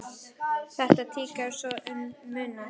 Þetta tikkar svo um munar!